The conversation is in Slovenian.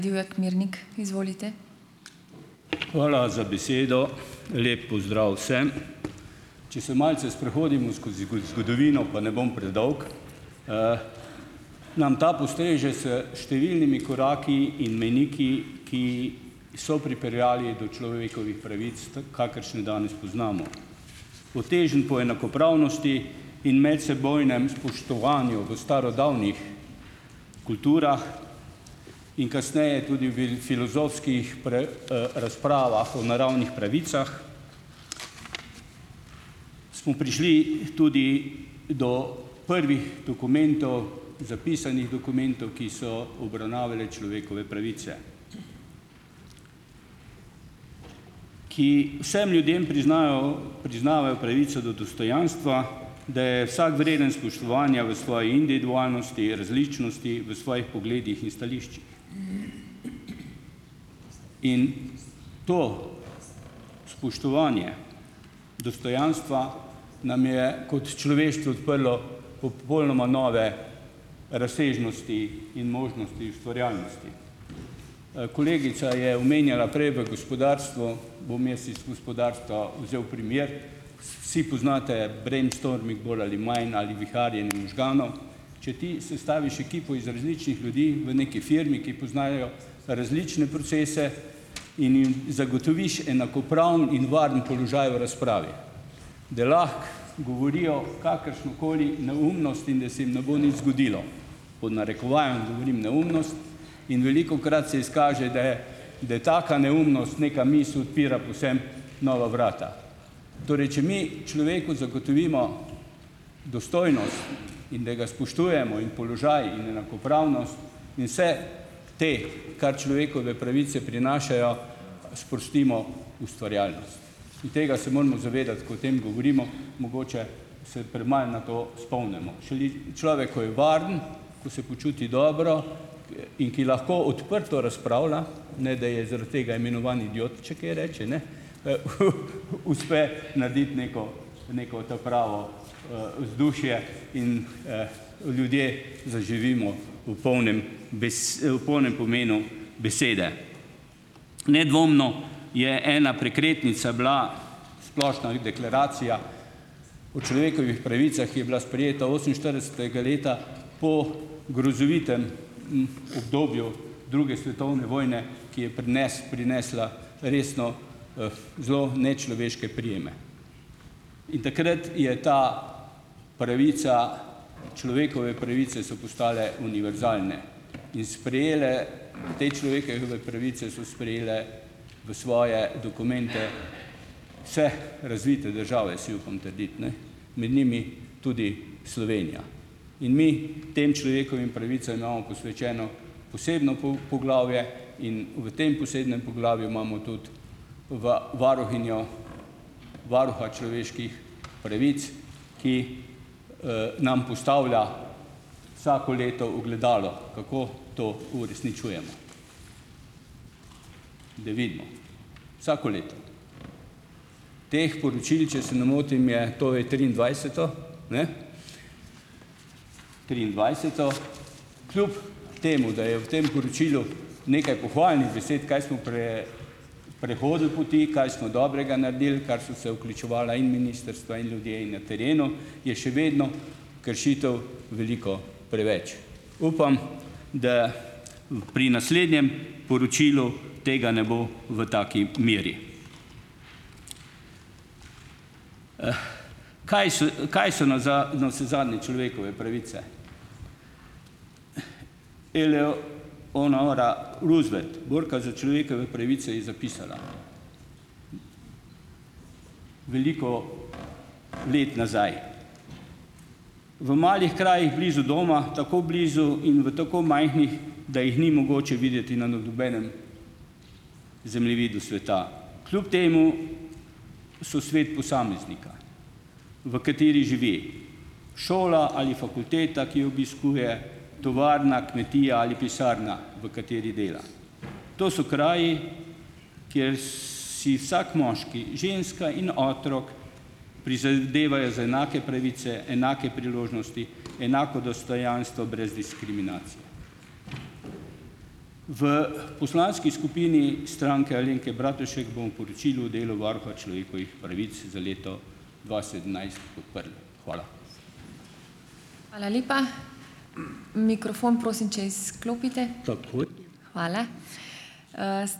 Hvala za besedo. Lep pozdrav vsem. Če se malce sprehodimo skozi zgodovino, pa ne bom predolg, nam ta postreže s številnimi koraki in mejniki, ki so pripeljali do človekovih pravic, kakršne danes poznamo. Po težnjah po enakopravnosti in medsebojnem spoštovanju v starodavnih kulturah in kasneje tudi v filozofskih razpravah o naravnih pravicah smo prišli tudi do prvih dokumentov, zapisanih dokumentov, ki so obravnavali človekove pravice, ki vsem ljudem priznajo priznavajo pravico do dostojanstva, da je vsak vreden spoštovanja v svoji individualnosti, različnosti, v svojih pogledih in stališčih. In to spoštovanje dostojanstva nam je kot človeštvu odprlo popolnoma nove razsežnosti in možnosti ustvarjalnosti. Kolegica je omenjala prej v gospodarstvu, bom jaz iz gospodarstva vzel primer. Vsi poznate "brainstorming" bolj ali manj ali viharjenje možganov. Če ti sestaviš ekipo iz različnih ljudi v neki firmi, ki poznajo različne procese, in jim zagotoviš enakopraven in varen položaj v razpravi, da lahko govorijo kakršnokoli neumnost in da se jim ne bo nič zgodilo, pod narekovajem govorim neumnost, in velikokrat se izkaže, da je da je taka neumnost neka misel, odpira povsem nova vrata. Torej, če mi človeku zagotovimo dostojnost in da ga spoštujemo in položaj in enakopravnost in vse te, kar človekove pravice prinašajo, sprostimo ustvarjalnost. In tega se moramo zavedati, ko o tem govorimo. Mogoče se premalo na to spomnimo. Šele človek, ko je varen, ko se počuti dobro in ki lahko odprto razpravlja, ne da je zaradi tega imenovan idiot, če je kaj reče, uspe narediti neko neko ta pravo, vzdušje in, ljudje zaživimo v polnem v polnem pomenu besede. Nedvomno je ena prekretnica bila Splošna deklaracija o človekovih pravicah, je bila sprejeta oseminštiridesetega leta po grozovitem, obdobju druge svetovne vojne, ki je pri nas prinesla resno, zelo nečloveške prijeme. In takrat je ta pravica, človekove pravice so postale univerzalne. In sprejele, te človekove pravice so sprejele v svoje dokumente vse razvite države, si upam trditi, med njimi tudi Slovenija. In mi tem človekovim pravicam imamo posvečeno posebno poglavje in v tem posebnem poglavju imamo tudi varuhinjo, varuha človeških pravic, ki nam postavlja vsako leto ogledalo, kako to uresničujemo, da vidimo vsako leto. Teh poročil, če se ne motim, je, to je triindvajseto, triindvajseto. Kljub temu da je v tem poročilu nekaj pohvalnih besed, kaj smo prehodili poti, kaj smo dobrega naredili, kar so se vključevala in ministrstva in ljudje na terenu, je še vedno kršitev veliko preveč. Upam, da pri naslednjem poročilu tega ne bo v taki meri. Kaj so kaj so navsezadnje človekove pravice? Eleonora Roosevelt, borka za človekove pravice, je zapisala veliko let nazaj: "V malih krajih blizu doma, tako blizu in v tako majhnih, da jih ni mogoče videti na nobenem zemljevidu sveta. Kljub temu so svet posameznika, v katerem živi. Šola ali fakulteta, ki jo obiskuje, tovarna, kmetija ali pisarna, v kateri dela. To so kraji, kjer si vsak moški, ženska in otrok prizadevajo za enake pravice, enake priložnosti, enako dostojanstvo brez diskriminacije." V poslanski skupini Stranke Alenke Bratušek bomo poročilo o delu varuha človekovih pravic za leto dva sedemnajst podprli. Hvala.